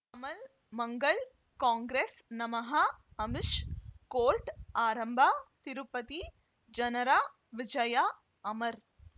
ಮಲ್ ಮಂಗಳ್ ಕಾಂಗ್ರೆಸ್ ನಮಃ ಅಮಿಷ್ ಕೋರ್ಟ್ ಆರಂಭ ತಿರುಪತಿ ಜನರ ವಿಜಯ ಅಮರ್